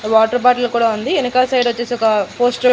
water bottle కూడా ఉంది ఎనకాల సైడొచ్చేసి ఒక పోస్టర్ --